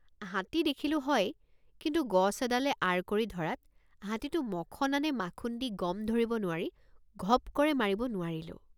হাতী দেখিলোঁ হয় কিন্তু গছ এডালে আঁৰ কৰি ধৰাত হাতীটো মখনা নে মাখুন্দী গম ধৰিব নোৱাৰি ঘপ্ কৰে মাৰিব নোৱাৰিলোঁ।